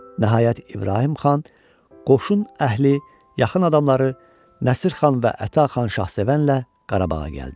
Nəhayət, İbrahim xan qoşun əhli, yaxın adamları Nəsir xan və Əta xan şahsevənlə Qarabağa gəldi.